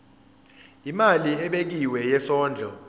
imali ebekiwe yesondlo